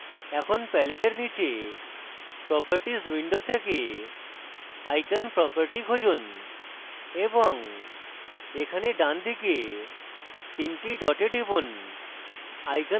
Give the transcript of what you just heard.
এখন palette এর নীচে properties window থেকে icon properties খুঁজুন এবং এখানে ডানদিকে 3 the ডটে টিপুন